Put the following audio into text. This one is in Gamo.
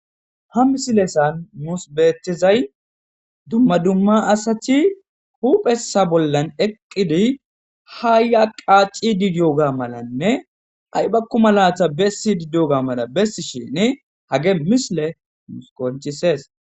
Ha misilezan nussi betizzay dumma dumma asati huphesa bolla eqidi ha ya qaxidi dewga malanne aybako mala besidi dewga mala besidi dewga hagey misiley qoncises.